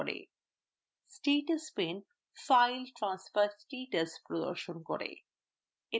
status pane file transfer status প্রদর্শন করে